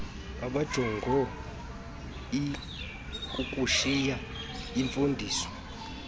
abanjongo ikukushiya imfundiso